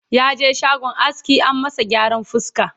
yaje shagon aski an masa gyaran fuska